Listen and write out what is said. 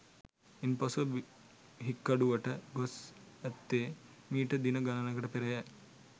ඉන්පසුව හික්කඩුවට ගොස් ඇත්තේ මීට දින ගණනකට පෙරය